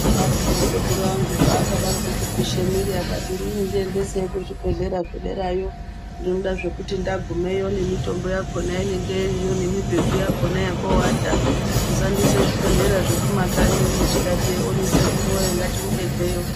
Vaidaroko sekuru angu pakadaroko kupisha mwiri akati inini ndiendeseyi kuzvibhehlera zvedereyo, ndinoda zvekuti ndagumeyo nemitombo yakona inenge iriyo nemibhedu yakona yokowata musandiisa kuzvibhehlera zvekumakanyi uno tikati ewoni sekuru woye ngatimubekeyo.